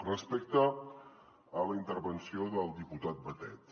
respecte a la intervenció del diputat batet